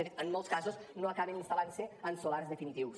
de fet en molts casos no acaben instal·lant se en solars definitius